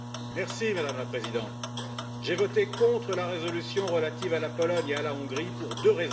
Madame la Présidente, j'ai voté contre la résolution relative à la Pologne et à la Hongrie pour deux raisons.